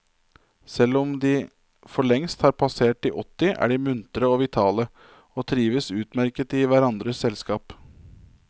Selvom om de forlengst har passert de åtti, er de muntre og vitale, og trives utmerket i hverandres selskap.